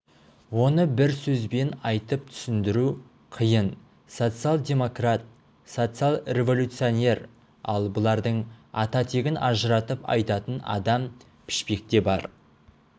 оны бір сөзбен айтып түсіндіру қиын социал-демократ социал-революционер ал бұлардың ата-тегін ажыратып айтатын адам пішпекте бар